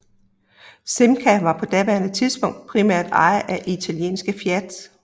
Simca var på daværende tidspunkt primært ejet af italienske Fiat